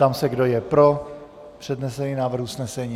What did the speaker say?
Ptám se, kdo je pro přednesený návrh usnesení.